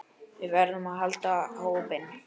Við verðum að halda hópinn!